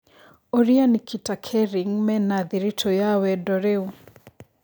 Ūrĩa Nikita Kering mena thĩritu ya wendo rĩu